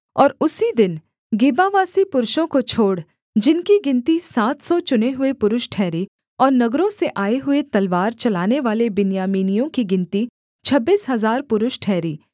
और उसी दिन गिबावासी पुरुषों को छोड़ जिनकी गिनती सात सौ चुने हुए पुरुष ठहरी और नगरों से आए हुए तलवार चलानेवाले बिन्यामीनियों की गिनती छब्बीस हजार पुरुष ठहरी